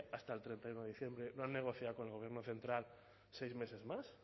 hasta el treinta y uno de diciembre y no han negociado con el gobierno central seis meses más